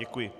Děkuji.